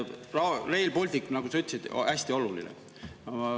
Rail Baltic, nagu sa ütlesid, on hästi oluline.